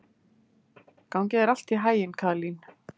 Gangi þér allt í haginn, Kaðlín.